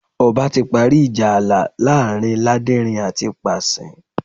Ọba ti parí ìjà ààlà láàrin Láderin àti Pàṣín